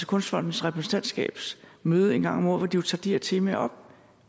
kunstfondens repræsentantskabs møde en gang om året hvor de tager de temaer op